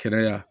Kɛnɛya